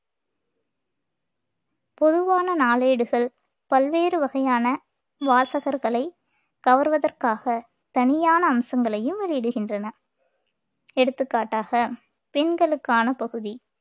பொதுவான நாளேடுகள் பல்வேறு வகையான வாசகர்களை கவர்வதற்காக தனியான அம்சங்களையும் வெளியிடுகின்றன எடுத்துக்காட்டாக பெண்களுக்கான பகுதி